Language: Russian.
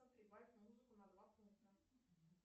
прибавь музыку на два пункта